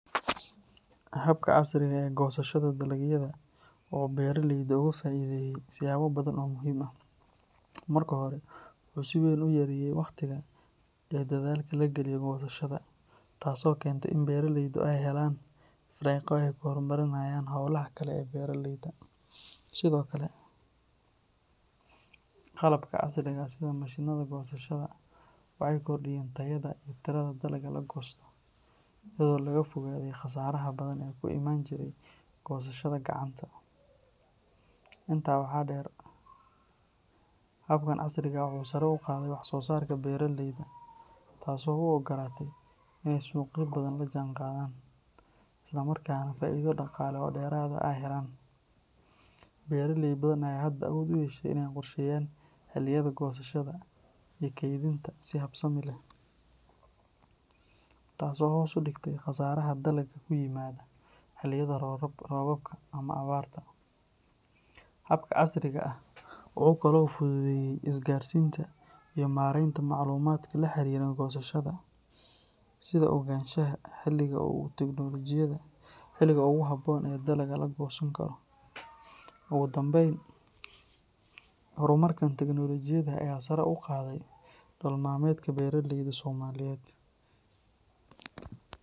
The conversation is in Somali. Habka casriga ah ee goosashada dalagyada wuxuu beraleyda uga faa’iideeyay siyaabo badan oo muhiim ah. Marka hore, wuxuu si weyn u yareeyay waqtiga iyo dadaalka la galiyo goosashada, taasoo keentay in beraleydu ay helaan firaaqo ay ku horumariyaan hawlaha kale ee beeraleyda. Sidoo kale, qalabka casriga ah sida mashiinnada goosashada waxay kordhiyeen tayada iyo tirada dalagga la goosto, iyadoo laga fogaaday khasaaraha badan ee ku imaan jiray goosashada gacanta. Intaa waxaa dheer, habkan casriga ah wuxuu sare u qaaday wax soo saarka beeraleyda, taasoo u oggolaatay in ay suuqyo badan la jaanqaadaan, isla markaana faa’iido dhaqaale oo dheeraad ah ay helaan. Beraley badan ayaa hadda awood u yeeshay inay qorsheeyaan xilliyada goosashada iyo kaydinta si habsami leh, taasoo hoos u dhigtay khasaaraha dalagga ku yimaada xilliyada roobabka ama abaarta. Habka casriga ah wuxuu kaloo fududeeyay isgaarsiinta iyo maaraynta macluumaadka la xiriira goosashada, sida ogaanshaha xilliga ugu habboon ee dalagga la goosan karo. Ugu dambayn, horumarkan teknoolojiyadda ayaa sare u qaaday nolol maalmeedka beeraleyda Soomaaliyeed.